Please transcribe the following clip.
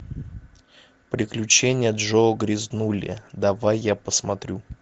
приключения джо грязнули давай я посмотрю